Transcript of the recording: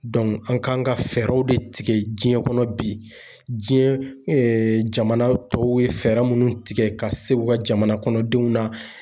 an kan ka fɛɛrɛw de tigɛ diɲɛ kɔnɔ bi, diɲɛ jamana tɔw ye fɛɛrɛ munnu tigɛ ka se u ka jamana kɔnɔ denw na.